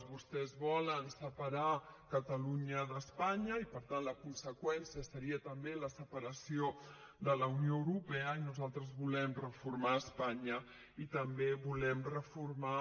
vostès volen separar catalunya d’espanya i per tant la conseqüència seria també la separació de la unió europea i nosaltres volem reformar espanya i també volem reformar